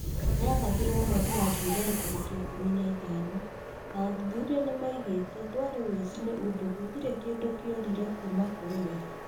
Nĩ a rathirwo mweri wa Julaĩ tarĩki ikũmi na ithano, na athuthuria nĩ ma ugiĩte dwari woicii nĩ ũndũ gũtirĩ kĩndũ kĩorire kuuma kũrĩ we.